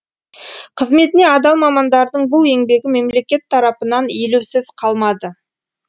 қызметіне адал мамандардың бұл еңбегі мемлекет тарапынан елеусіз қалмады